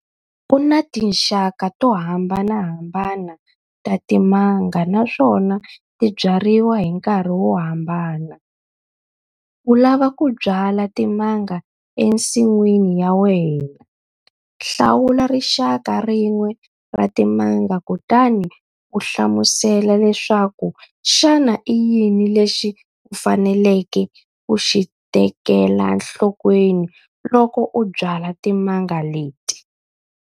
Ku na tinxaka to hambanahambana ta timanga naswona ti byariwa hi nkarhi wo hambana. U lava ku byala timanga ensin'wini ya wena, hlawula rixaka rin'we ra timanga kutani u hlamusela leswaku xana i yini lexi u faneleke ku xi tekela nhlokweni loko u byala timanga leti.